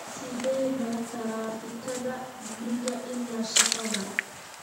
Sidee baa taraafikada guriga ilaa shaqada?